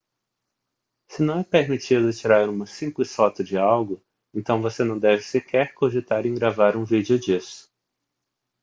se não é permitido tirar uma simples foto de algo então você não deve sequer cogitar em gravar um vídeo disso